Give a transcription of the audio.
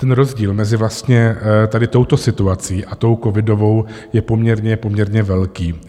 Ten rozdíl mezi vlastně tady touto situací a tou covidovou je poměrně velký.